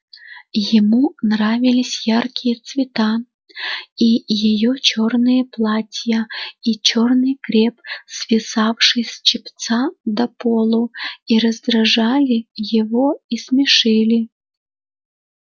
ему нравились яркие цвета и её чёрные платья и чёрный креп свисавший с чепца до полу и раздражали его и смешили